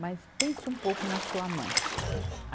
Mas pensa um pouco na sua mãe.